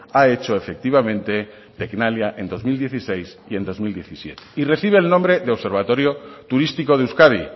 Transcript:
ha hecho efectivamente tecnalia en dos mil dieciséis y en dos mil diecisiete y recibe el nombre de observatorio turístico de euskadi